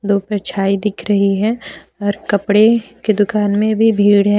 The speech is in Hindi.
परछाई दिख रही है और कपड़े के दुकान में भी भीड़ है।